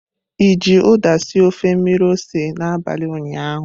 I ji uda sie ofe mmiri ose n'abalị ụnyaahụ?